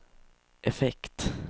effekt